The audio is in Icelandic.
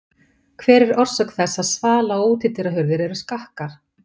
Hver er orsök þess að svala- og útihurðir eru skakkar?